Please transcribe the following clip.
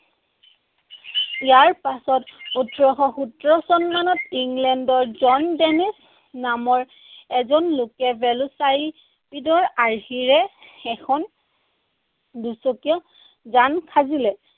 ইয়াৰ পিছত, ওঠৰশ সোতৰ চনমানত ইংলেণ্ডৰ জন নামৰ এজন লোকে ভেল'চাইপিডৰ আৰ্হিৰে এখন দুচকীয়া যান সাজিলে।